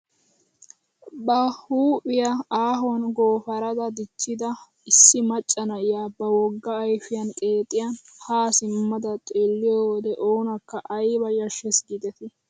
Ba huuphphiyaa aahuwaan gooparada dichchida issi macca na'iyaa ba wogga ayfiyaan qeexiyaan haa simmada xeelliyoo wode onaakka ayba yashshees gidetii!